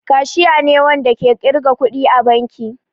Kashiya ne Wanda ke kirga kuɗi a banki.